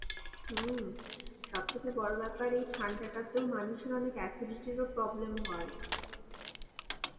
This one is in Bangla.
হম সব থেকে বড় ব্যাপার এই ঠান্ডাটাতেও মানুষের অনেক acidity এর ও problem হয়.